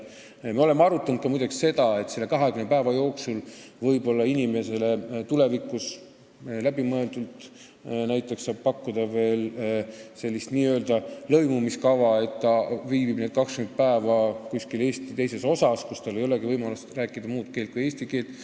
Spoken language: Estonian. Muide, me oleme ka seda arutanud, et tulevikus võib-olla inimesele läbimõeldult pakkuda n-ö lõimumiskava 20 päeva jooksul, st ta viibib need 20 päeva kuskil teises Eesti osas, kus tal ei olegi võimalust rääkida muud keelt kui eesti keelt.